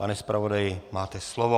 Pane zpravodaji, máte slovo.